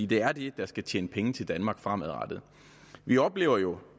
det er det der skal tjene penge til danmark fremadrettet vi oplever jo